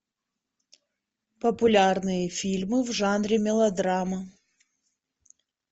популярные фильмы в жанре мелодрама